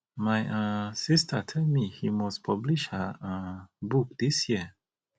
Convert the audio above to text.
my um sister tell me say he must publish her um book dis year